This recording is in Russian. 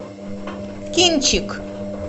кинчик